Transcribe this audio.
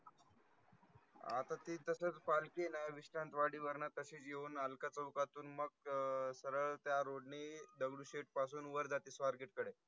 अथा ती तसथ पालकी ना विश्रांतवाडी वर्ण तशिच येवन अलका चौकथवन मग सरल त्या road नी दगडूशेठ पासुन वर जाति स्वारगेट कडे.